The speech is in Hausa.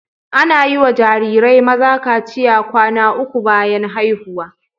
Ana yi wa jarirai maza kaciya kwana uku bayan haihuwa.